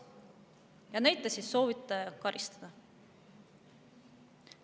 Ja neid te siis soovite karistada.